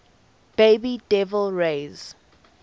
bay devil rays